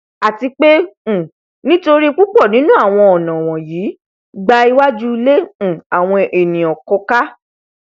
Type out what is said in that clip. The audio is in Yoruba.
àti pé um nítorí púpọ nínú awọn ọnà wọnyí gba iwajú ilé um àwọn ènìà kọká